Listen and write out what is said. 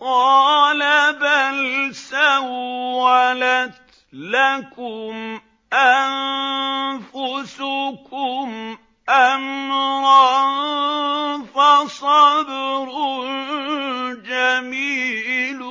قَالَ بَلْ سَوَّلَتْ لَكُمْ أَنفُسُكُمْ أَمْرًا ۖ فَصَبْرٌ جَمِيلٌ ۖ